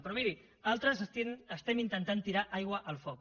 però mirin altres estem intentant tirar aigua al foc